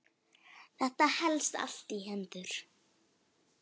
Þetta helst allt í hendur.